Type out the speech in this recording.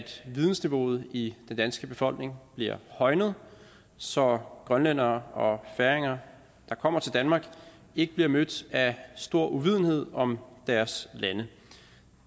vidensniveauet i den danske befolkning bliver højnet så grønlændere og færinger der kommer til danmark ikke bliver mødt af stor uvidenhed om deres lande